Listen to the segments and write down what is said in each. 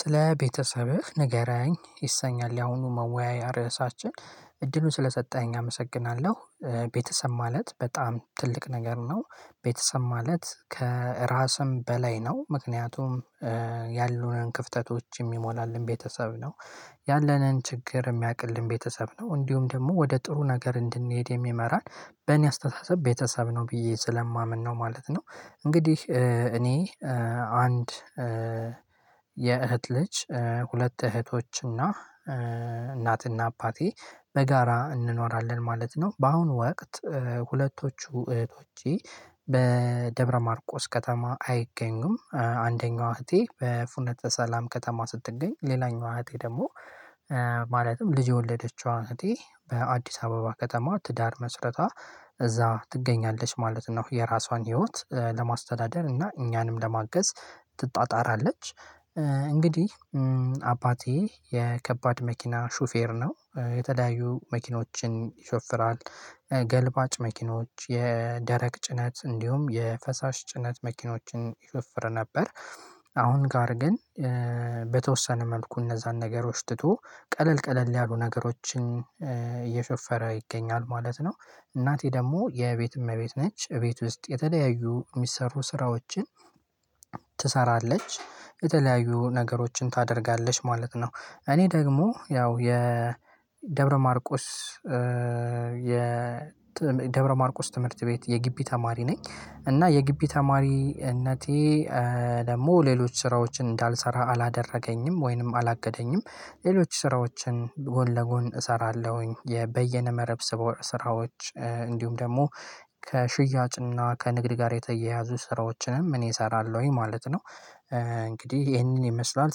ስለ ቤተሰብህ ንገረኝ ይሰኛል ያሁኑ መወያያ ርዕሳችን እድሉን ስለሰጠኸኝ አመሰግናለሁ። ቤተሰብ ማለት በጣም ትልቅ ነገር ነው። ቤተሰብ ማለት ከራስም በላይ ነው ምክንያቱም። ያሉንን ክፍተቶች የሚሞላልን ቤተሰብ ነው። ያለንን ችግር የሚቅልን ቤተሰብ ነው እንዲሁም ደግሞ ወደ ጥሩ ነገር እንድንሄድ የሚመራን። በእኔ አስተሳሰብ ቤተሰብ ነው ብዬ ስለማምን ነው ማለት ነው። እንግዲህ እኔ አንድ የእህት ልጅ ሁለት እህቶች እና እናትና አባቴ በጋራ እንኖራለን ማለት ነው። በአሁኑ ወቅት ሁለቶቹ እህቶቼ በደብረማርቆስ ከተማ አይገኙም። አንደኛዋ እህቴ በፉነት ሰላም ከተማ ስትገኝ። ሌላኛዋ እህቴ ደግሞ ማለትም ልጅ የወለደችዋን እህቴ በአዲስ አበባ ከተማ ትዳር መስረታ እዛ ትገኛለች ማለት ነው። የራሷን ህይወት ለማስተዳደር እና እኛንም ለማገዝ ትጣጣራለች። እንግዲህ አባቴ የከባድ መኪና ሹፌር ነው የተለያዩ መኪኖችን ይሾፍራል። ገልባጭ መኪኖች የደረቅ ጭነት እንዲሁም የፈሳሽ ጭነት መኪኖችን ይሾፍር ነበር። አሁን ጋር ግን በተወሰነ መልኩ እነዛን ነገሮች ትቶ ቀለል ቀለል ያሉ ነገሮችን እየሾፈረ ይገኛል ማለት ነው። እናቴ ደግሞ የቤት እመቤት ነች። እቤት ውስጥ የተለያዩ የሚሰሩ ስራዎችን ትሰራለች የተለያዩ ነገሮችን ታደርጋለች ማለት ነው። እኔ ደግሞ ያው የ ደብረማርቆስ የ ደብረማርቆስ ትምህርት ቤት የጊቢ ተማሪ ነኝ። እና የጊቢ ተማሪነቴ ደግሞ ሌሎች ስራዎችን እንዳልሰራ አላደረገኝም ወይንም አላገደኝም። ሌሎች ስራዎችን ጎን ለጎን እሰራለሁኝ የበየነ መረብ ስራዎች እንዲሁም ደግሞ ከሽያጭና ከንግድ ጋር የተያያዙ ስራዎችንም እኔ እሰራለሁኝ ማለት ነው። እንግዲህ ይሄንን ይመስላል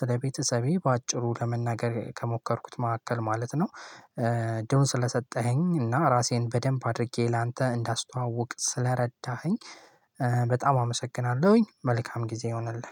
ስለቤተሰቤ በአጭሩ ለመናገር ከሞከርኩት መካከል ማለት ነው። እድሉን ስለሰጠኸኝ እና ራሴን በደንብ አድርጌ ላንተ እንዳስተዋውቅ ስለረዳኸኝ በጣም አመሰግናለሁኝ። መልካም ጊዜ ይሆናል።